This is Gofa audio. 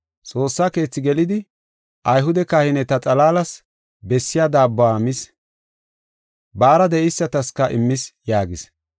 Xoossa Keethi gelidi Ayhude kahineta xalaalas bessiya daabbuwa mis; baara de7eysataska immis” yaagis.